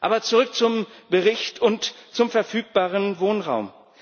Aber zurück zum Bericht und zum verfügbaren Wohnraum.